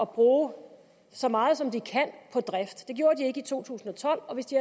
bruge så meget som de kan på drift det gjorde de ikke i to tusind og tolv og hvis de